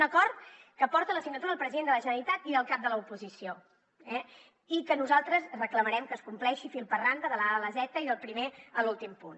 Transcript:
un acord que porta la signatura del president de la generalitat i del cap de l’oposició i que nosaltres reclamarem que es compleixi fil per randa de la a a la zeta i del primer a l’últim punt